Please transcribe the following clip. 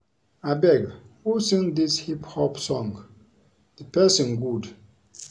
Abeg who sing dis hip hop song? The person good.